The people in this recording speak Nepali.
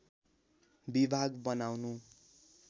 विभाग बनाउनु